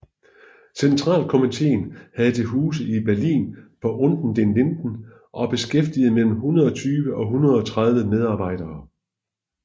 Centralkomitéen havde til huse i Berlin på Unter den Linden og beskæftigede mellem 120 og 130 medarbejdere